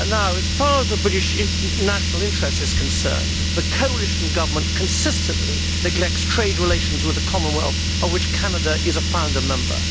As far as the British national interest is concerned, the coalition government consistently neglects trade relations with the Commonwealth, of which Canada is a founder member.